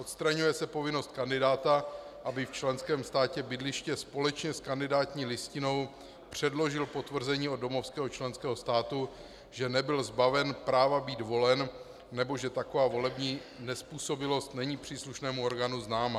Odstraňuje se povinnost kandidáta, aby v členském státě bydliště společně s kandidátní listinou předložil potvrzení od domovského členského státu, že nebyl zbaven práva být volen nebo že taková volební nezpůsobilost není příslušnému orgánu známa.